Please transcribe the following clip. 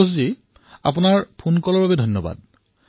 সন্তোষ মহোদয় আপোনাৰ ফোন কলৰ বাবে বহুত বহুত ধন্যবাদ